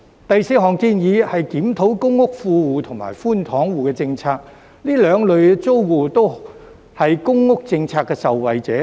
第四項建議是檢討公屋富戶及寬敞戶政策，這兩類租戶都是公屋政策的受惠者。